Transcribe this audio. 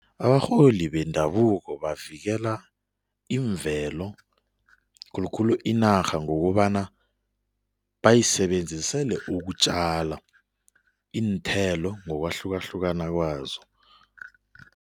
Abarholi bendabuko bavikela imvelo, khulukhulu inarha ngokobana bayisebenzisele ukutjala iinthelo ngokwahlukahlukana kwazo.